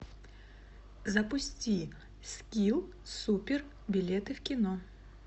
запусти скилл супер билеты в кино